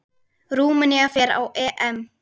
Rúmenía fer á EM.